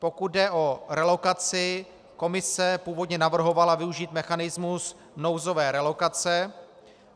Pokud jde o relokaci, Komise původně navrhovala využít mechanismus nouzové relokace.